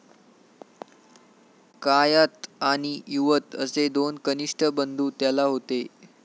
कायात आणि युवत असे दोन कनिष्ठ बंधू त्याला होते.